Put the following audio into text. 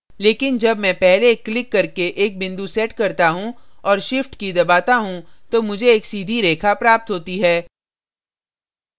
लेकिन जब मैं पहले एक click करके एक बिंदु set करता हूँ और shift की key दबाता हूँ तो मुझे एक सीधी रेखा प्राप्त होती है